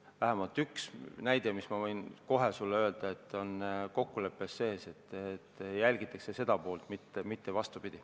Vähemalt üks näide, ma võin kohe sulle öelda, on kokkuleppes sees, et jälgitakse seda poolt, mitte ei ole vastupidi.